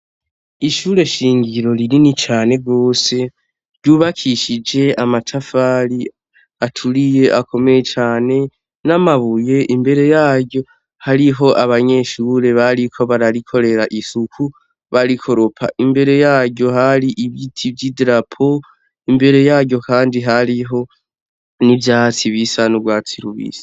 Ishure shingiro rinini cane gose, ryubakishije amatafari aturiye akomeye cane n'amabuye, imbere yaryo hariho abanyeshure bariko bararikorera isuku barikoropa, imbere yaryo hari ibiti vy'idarapo, imbere yaryo kandi hariho n'ivyatsi bisa n'urwatsi rubisi.